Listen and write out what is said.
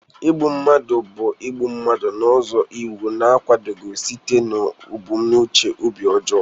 Igbu mmadụ bụ igbu mmadụ n'ụzọ iwu na-akwadoghị site n'ebumnuche obi ọjọọ.